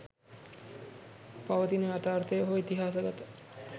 පවතින යථාර්ථය හෝ ඉතිහාසගත